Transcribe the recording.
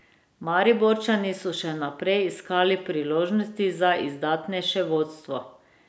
Mariborčani so še naprej iskali priložnosti za izdatnejše vodstvo.